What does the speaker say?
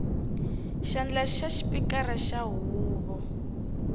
xandla xa xipikara xa huvo